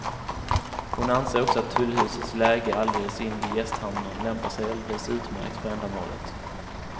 Hon anser också att tullhusets läge alldeles invid gästhamnen lämpar sig alldeles utmärkt för ändamålet.